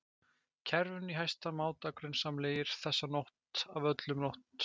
kerfinu í hæsta máta grunsamlegir, þessa nótt af öllum nótt